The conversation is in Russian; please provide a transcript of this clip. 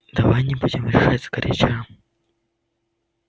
давай не будем решать сгоряча